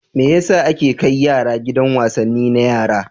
Me ya sa ake kai yara gidan wasanni na yara?